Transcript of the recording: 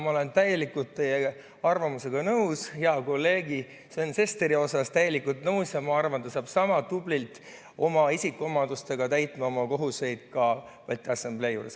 Ma olen täielikult teie arvamusega nõus hea kolleegi Sven Sesteri koha pealt, täielikult nõus, ja arvan, et ta saab sama tublilt oma isikuomadustega täita oma kohuseid ka Balti Assamblee juures.